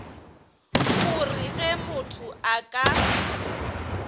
gore ge motho a ka